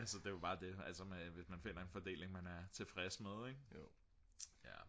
altså det er jo bare det hvis man finder en fordeling man er tilfreds med ik